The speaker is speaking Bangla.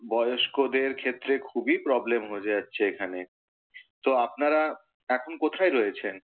বয়স্কদের ক্ষেত্রে খুবই প্রবলেম হয়ে যাচ্ছে এখানে। তো আপনারা এখন কোথায় রয়েছেন?